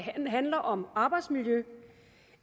handler om arbejdsmiljø